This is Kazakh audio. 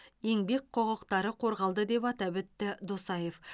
еңбек құқықтары қорғалды деп атап өтті досаев